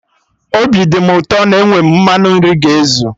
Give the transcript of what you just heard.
Obi dị mụ ụtọ na enwe m mmanụ nri ga ezu